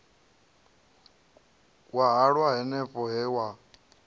wa halwa hanefho he wa